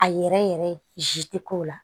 A yɛrɛ yɛrɛ tɛ k'o la